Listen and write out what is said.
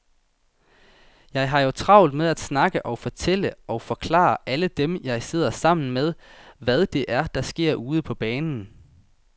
Jeg har jo travlt med at snakke og fortælle og forklare alle dem, jeg sidder sammen med, hvad det er, der sker ude på banen.